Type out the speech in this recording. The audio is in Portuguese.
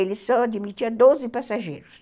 Ele só admitia doze passageiros.